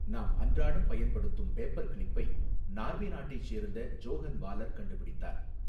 நாம் அன்றடம் பயன்படுத்தும் பேப்பர் கிளிப்பை நார்வே நாட்டைச் சேர்ந்த ஜோஹன் வாலர் கண்டுபிடித்தார்.